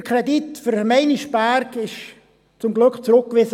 Der Kredit für Meinisberg wurde zum Glück zurückgewiesen.